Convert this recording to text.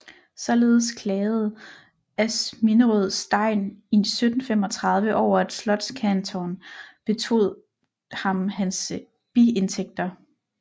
Således klagede Asminderøds degn i 1735 over at slotskantoren betog ham hans biindtægter